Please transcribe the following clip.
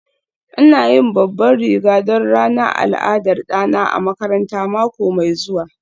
ina yin babban riga don ranar al'adar ɗana a makaranta mako mai zuwa